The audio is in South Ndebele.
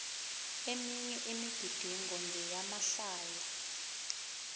eminye imigidingo ngeyamahlaya